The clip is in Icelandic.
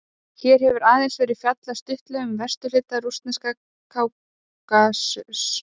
Hér hefur aðeins verið fjallað stuttlega um vesturhluta rússneska Kákasus.